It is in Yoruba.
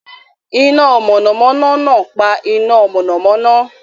Iná mọ̀nàmọ́ná náà pa iná mọ̀nàmọ́ná.